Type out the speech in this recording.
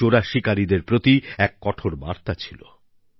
এটি চোরা শিকারিদের প্রতি এক কঠোর বার্তা ছিল